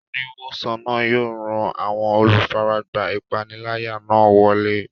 Oníwòsàn náà yóò ran àwọn olùfaragbá ìpániláyà náà lọ́wọ́.